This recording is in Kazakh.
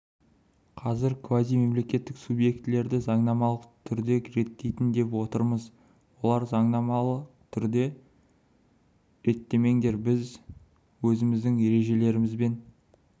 қазір біз квазимемлекеттік субъектілерді заңнамалық түрде реттейік деп отырмыз олар заңнамалық түрде реттемеңдер біз өзіміздің ережелерімізбен